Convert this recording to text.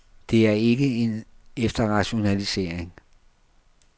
Det er ikke en efterrationalisering.